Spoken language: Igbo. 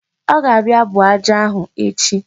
Ọ ga-abịa buo aja ahụ echi.